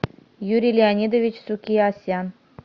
юрий леонидович сукиасян